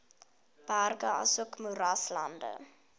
berge asook moeraslande